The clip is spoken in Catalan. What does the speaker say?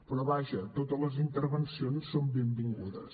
però vaja totes les intervencions són benvingudes